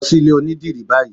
Lọ sí ilé onídìrí báyìí!